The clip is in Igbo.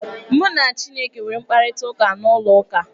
Mụ na chineke nwere mkparịtaụka n'ụlọ ụka.